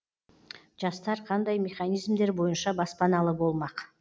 жастар қандай механизмдер бойынша баспаналы болмақ